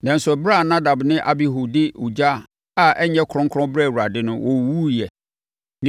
Nanso, ɛberɛ a Nadab ne Abihu de ogya a ɛnyɛ kronkron brɛɛ Awurade no, wɔwuwuiɛ.